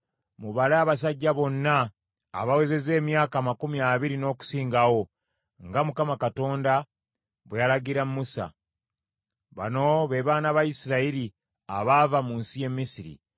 “Mubale abasajja bonna abawezezza emyaka amakumi abiri n’okusingawo, nga Mukama Katonda bwe yalagira Musa.” Bano be baana ba Isirayiri abaava mu nsi y’e Misiri: